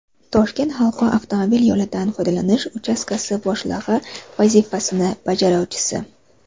Toshkent halqa avtomobil yo‘lidan foydalanish uchastkasi boshlig‘i vazifasini bajaruvchisi.